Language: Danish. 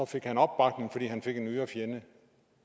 fik han opbakning fordi han fik en ydre fjende